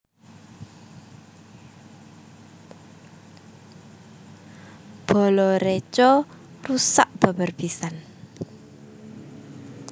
Bala reca rusak babar pisan